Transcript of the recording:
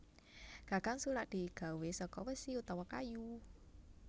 Gagang sulak digawé saka wesi utawa kayu